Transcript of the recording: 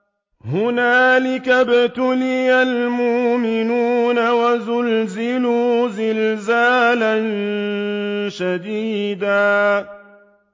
هُنَالِكَ ابْتُلِيَ الْمُؤْمِنُونَ وَزُلْزِلُوا زِلْزَالًا شَدِيدًا